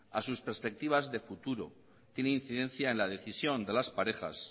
a sus perspectivas de futuro tiene incidencia a la decisión de las parejas